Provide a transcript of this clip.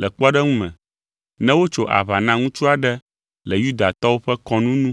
Le kpɔɖeŋu me, ne wotso aʋa na ŋutsu aɖe le Yudatɔwo ƒe kɔnu nu